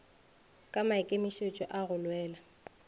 ka maikemišitšo a go lwela